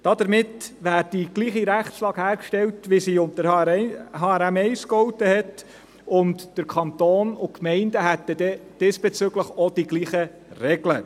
Damit wäre die gleiche Rechtslage hergestellt, wie sie unter HRM1 gegolten hat, und der Kanton und die Gemeinden hätten diesbezüglich auch die gleichen Regeln.